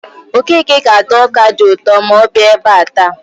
Okeke ga-ata ọka dị ụtọ ma ọ ebe a taa.